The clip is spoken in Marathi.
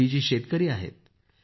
रेड्डी जी शेतकरी आहेत